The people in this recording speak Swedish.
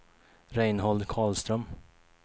Reinhold Karlström